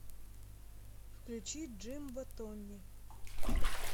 включи джимбо томми